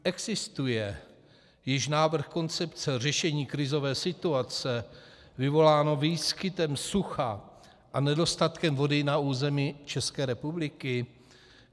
Existuje již návrh koncepce řešení krizové situace, vyvolané výskytem sucha a nedostatkem vody na území České republiky?